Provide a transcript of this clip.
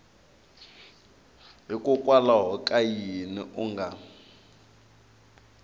hikokwalaho ka yini u nga